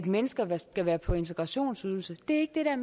mennesker skal være på integrationsydelse det er